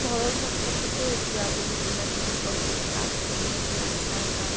ঘৰৰ সন্মূখতে এতিয়া বহুত কিবা কিবি মানে কাম চলি আছে। ৰাস্তাৰ কাম